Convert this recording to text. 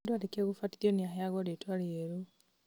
mũndũ arĩkia gũbatithio niaheyagwo rĩtwa rĩerũ